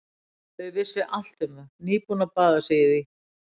Þau vissu allt um það, nýbúin að baða sig í því.